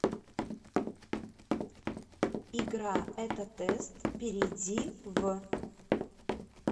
игра этотест перейди в